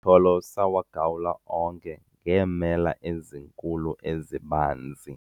amatyholo sawagawula onke ngeemela ezinkulu ezibanzi